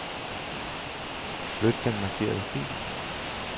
Flyt den markerede fil.